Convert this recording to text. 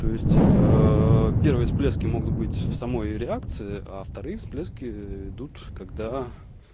то есть первые всплески могут быть в самой реакции а вторые всплески идут когда